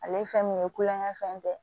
Ale ye fɛn min ye kulonkɛ fɛn tɛ